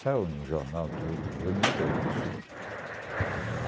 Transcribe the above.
Saiu no jornal tudo, em dois mil e três isso.